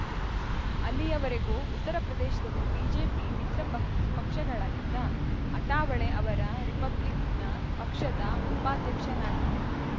ಅಲ್ಲಿಯವರೆಗೂ ಉತ್ತರಪ್ರದೇಶದಲ್ಲಿ ಬಿಜೆಪಿ ಮಿತ್ರ ಪಕ್ ಪಕ್ಷಗಳಾಗಿದ್ದ ಅಠಾವಳೆ ಅವರ ರಿಪಬ್ಲಿಕನ್‌ ಪಕ್ಷದ ಉಪಾಧ್ಯಕ್ಷನಾಗಿದ್ದೆ